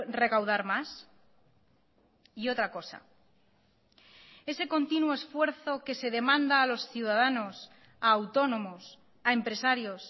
recaudar más y otra cosa ese continuo esfuerzo que se demanda a los ciudadanos a autónomos a empresarios